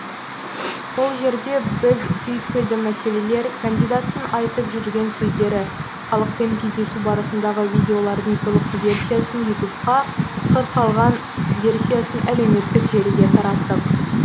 ол жерде біз түйткілді мәселелер кандидаттың айтып жүрген сөздері халықпен кездесу барысындағы видеолардың толық версиясын ютубқа қырқылған версиясын әлеуметтік желіге тараттық